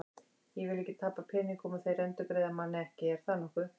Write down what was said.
Ég vil ekki tapa peningum og þeir endurgreiða manni ekki, er það nokkuð?